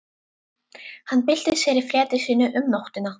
Hann bylti sér í fleti sínu um nóttina.